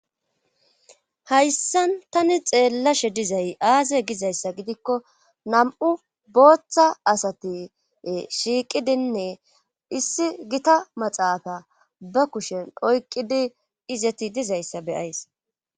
Hayssan tani xeellashe dizay aaza gizayssa gidikko nam'u booththa asati shiiqidinne issi gita maxaafa ba kushen oyqidi izati dizayssa beyays.